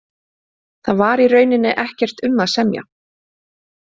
Þar var í rauninni ekkert um að semja.